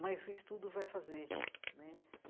Mas o estudo vai fazer né.